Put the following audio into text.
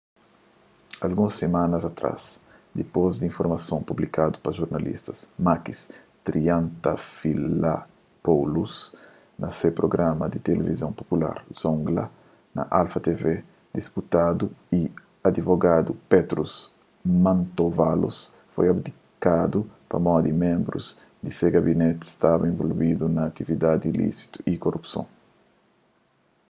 alguns simana atrás dipôs di informason publikadu pa jornalista makis triantafylopoulos na se prugrama di tilivizon popular zoungla na alpha tv diputadu y adivogadu petros mantouvalos foi abdikadu pamodi ménbrus di se gabineti staba involvidu na atividadi ilísitu y kurupson